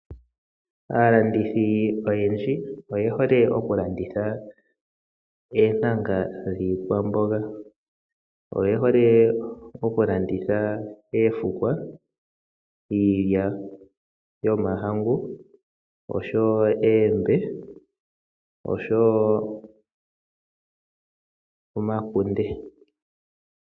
Aalandithi oyendji oye hole okulanditha oontanga dhiikwamboga. Oye hole okulanditha oofukwa, iilya yomahangu, oombe oshowo omakunde.